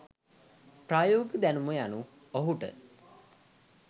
ප්‍රායෝගික දැනුම යනු ඔහුට